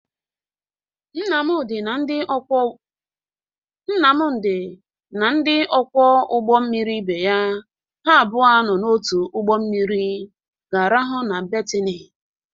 Nnamdị na ndị ọkwọ ụgbọ mmiri ibe ya ha abụọ nọ n'otu ụgbọ mmiri ga-arahụ na betini